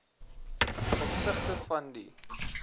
opsigte van die